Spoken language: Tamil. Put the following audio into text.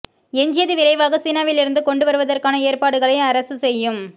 எஞ்சியது விரைவாக சீனாவிலிருந்து கொண்டு வருவதற்கான ஏற்பாடுகளை அரசு செய்யும்